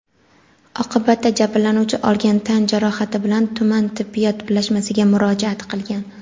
Oqibatda jabrlanuvchi olgan tan jarohati bilan tuman tibbiyot birlashmasiga murojaat qilgan.